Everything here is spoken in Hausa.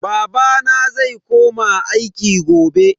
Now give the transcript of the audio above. Babana zai koma aiki gobe.